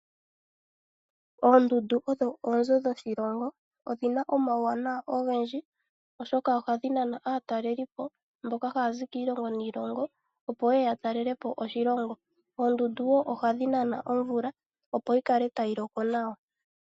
Oondundu odho oonzo dhasimana odhina omawuwanawa ogendji oshoka ohadhi nana aatalelipo mboka hayazi kiilongo niilongo opo yeye ya talelepo oshilongo. Oondundu woo ohadhi nana omvula opo yikale tayi loko nawa